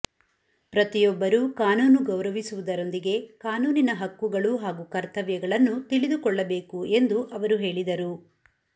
ಪ್ರತಿಯೊಬ್ಬರು ಕಾನೂನು ಗೌರವಿಸುವುದರೊಂದಿಗೆ ಕಾನೂನಿನ ಹಕ್ಕುಗಳು ಹಾಗೂ ಕರ್ತವ್ಯಗಳನ್ನು ತಿಳಿಕೊಳ್ಳಬೇಕು ಎಂದು ಅವರು ಹೇಳಿದರು